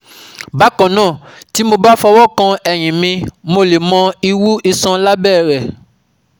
Bákan náà, tí mo bá fọwọ́ kan ẹ̀yin mi, mo lè mọ ìwú iṣan lábẹ́ rẹ̀